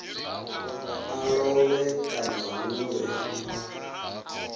a lovhe kana hu vhe